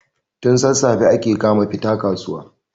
tun sassafe ake kama fita kasuwa